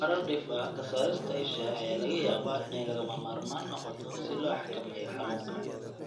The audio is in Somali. Marar dhif ah, ka saarista isha ayaa laga yaabaa inay lagama maarmaan noqoto si loo xakameeyo xanuunka.